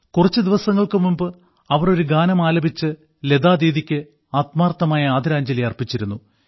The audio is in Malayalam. കുറച്ച് ദിവസങ്ങൾക്ക് മുമ്പ് അവർ ഒരു ഗാനം ആലപിച്ച് ലതാദീദിക്ക് ആത്മാർത്ഥമായ ആദരാഞ്ജലി അർപ്പിച്ചിരുന്നു